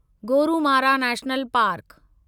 Gorumara national park